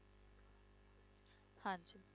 ਹਾਂਜੀ।